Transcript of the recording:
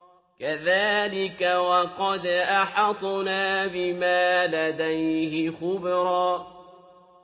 كَذَٰلِكَ وَقَدْ أَحَطْنَا بِمَا لَدَيْهِ خُبْرًا